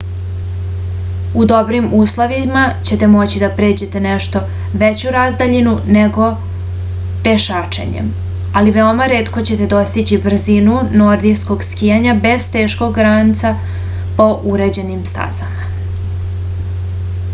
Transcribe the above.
u dobrim uslovima ćete moći da pređete nešto veću razdaljinu nego pešačenjem ali veoma retko ćete dostići brzinu nordijskog skijanja bez teškog ranca po uređenim stazama